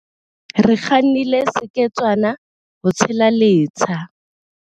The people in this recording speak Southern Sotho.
Re kgannile seketswana ho tshela letsha.